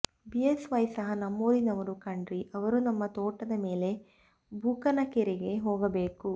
BS Y ಸಹ ನಮ್ಮೂರಿನವರು ಕಣ್ರೀ ಅವರು ನಮ್ಮ ತೋಟದ ಮೇಲೆ ಬೂಕನಕೆರೆಗೆ ಹೋಗಬೇಕು